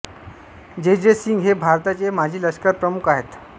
जे जे सिंग हे भारताचे माजी लष्करप्रमुख आहेत